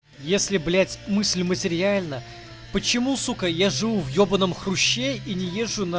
если блять мысль материальна почему сука я живу в ебаном хруще и не езжу на